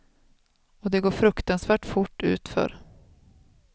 Och det går fruktansvärt fort utför.